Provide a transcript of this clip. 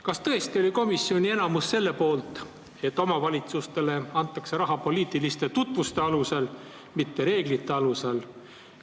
Kas tõesti oli komisjoni enamus selle poolt, et omavalitsustele antakse raha poliitiliste tutvuste alusel, mitte reeglite alusel?